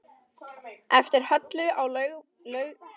eftir Höllu á Laugabóli, móður Ólafs Þórðarsonar velgerðarmanns